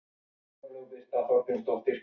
Súlamít, lækkaðu í hátalaranum.